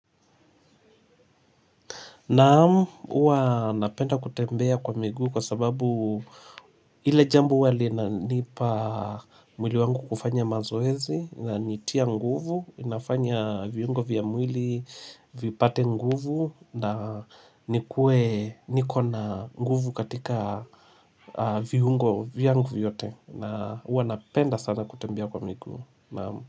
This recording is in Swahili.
Naam, hua napenda kutembea kwa miguu kwa sababu ile jambo huwawali nipa mwili wangu kufanya mazoezi na nitia nguvu, inafanya viungo vya mwili vipate nguvu na nikuwe niko na nguvu katika viungo vyangu vyote na hua napenda sana kutembea kwa miguu, naam.